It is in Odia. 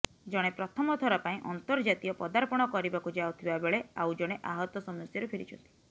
ଜଣେ ପ୍ରଥମଥର ପାଇଁ ଅନ୍ତର୍ଜାତୀୟ ପଦାର୍ପଣ କରିବାକୁ ଯାଉଥିବାବେଳେ ଆଉ ଜଣେ ଆହତ ସମସ୍ୟାରୁ ଫେରିଛନ୍ତି